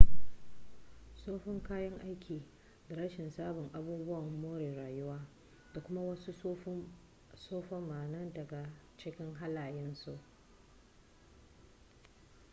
tsoffin kayan aiki da rashin sabbin abubuwan more rayuwa da kuma wasu tsufa ma na daga cikin halayen su